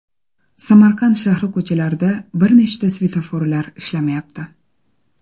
Samarqand shahri ko‘chalarida bir nechta svetoforlar ishlamayapti .